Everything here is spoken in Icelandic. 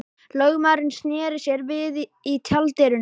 Lögmaðurinn sneri sér við í tjalddyrunum.